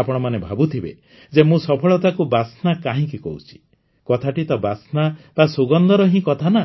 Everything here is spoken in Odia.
ଆପଣମାନେ ଭାବୁଥିବେ ଯେ ମୁଁ ସଫଳତାକୁ ବାସ୍ନା କାହିଁକି କହୁଛି କଥାଟି ତ ବାସ୍ନା ବା ସୁଗନ୍ଧର ହିଁ କଥା ନା